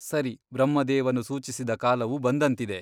ಸರಿ ಬ್ರಹ್ಮದೇವನು ಸೂಚಿಸಿದ ಕಾಲವು ಬಂದಂತಿದೆ.